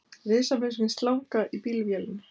Risavaxin slanga í bílvélinni